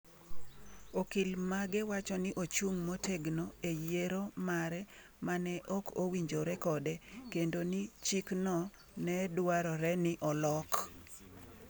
Okil mage wacho ni ochung’ motegno e yiero mare ma ne ok owinjore kode kendo ni chikno ne dwarore ni olok